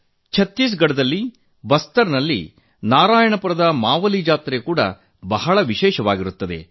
ಛತ್ತೀಸ್ ಗಢದ ಬಸ್ತಾರ್ ನಲ್ಲಿನ ನಾರಾಯಣಪುರದ ಮಾವಲಿ ಜಾತ್ರೆ ತುಂಬಾ ವಿಶೇಷವಾಗಿರುತ್ತದೆ